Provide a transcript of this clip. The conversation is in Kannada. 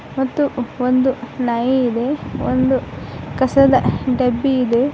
ಮತ್ತು ಒಂದು ನಾಯಿ ಇದೆ ಒಂದು ಕಸದ ಡಬ್ಬಿ ಇದೆ.